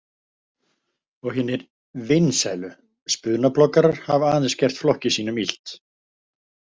Og hinir „vinsælu“ spunabloggarar hafa aðeins gert flokki sínum illt.